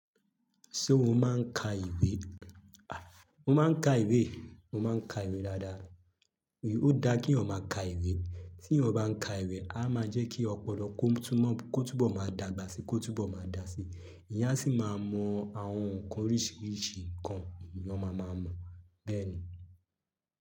Ṣé o máa ń ka ìwé? Mo máa ń ka ìwé, mo máa ń ka ìwé dáadáa. Ó dára ki eeyan máa ka ìwé. Tí eyan bá ń ka ìwé, a máa jẹ́ kí ọpọlọ kó túbọ̀ máa dàgbà síi, kó túbọ̀ máa dà síi. Eyan a sì máa mọ àwọn nǹkan oríṣiríṣi nkan l'eyan máa maa mọ. Bẹ́ẹ̀ ni.